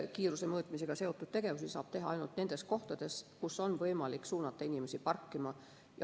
Kiiruse mõõtmisega seotud tegevusi saab teha ainult nendes kohtades, kus on võimalik suunata inimesi parkima.